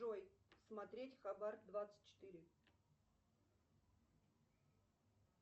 джой смотреть хабар двадцать четыре